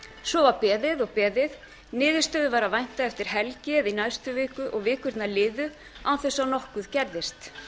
svo var beðið og beðið niðurstöðu var að vænta eftir helgi eða í næstu viku og vikurnar liðu án þess að nokkuð gerðist